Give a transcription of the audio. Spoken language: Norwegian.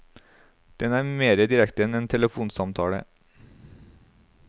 Den er mer direkte enn en telefonsamtale.